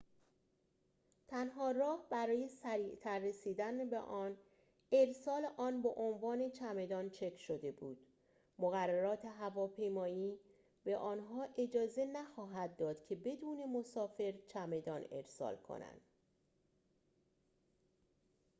تنها راه برای سریعتر رسیدن به آن ارسال آن به عنوان چمدان چک شده بود مقررات هواپیمایی به آنها اجازه نخواهد داد که بدون مسافر چمدان ارسال کنند